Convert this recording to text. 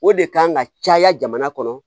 O de kan ka caya jamana kɔnɔ